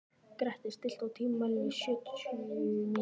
Grettir, stilltu tímamælinn á sjötíu og sjö mínútur.